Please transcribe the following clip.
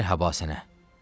Mərhaba sənə!